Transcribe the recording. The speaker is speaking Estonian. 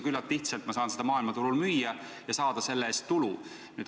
Ma saan küllalt lihtsalt neid maailmaturul müüa ja saada selle eest tulu.